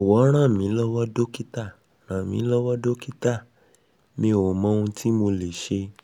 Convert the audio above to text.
jowo ranmilowo dokita ranmilowo dokita mi o mo ohun ti mo le se